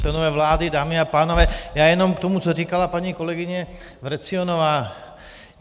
Členové vlády, dámy a pánové, já jenom k tomu co říkala paní kolegyně Vrecionová.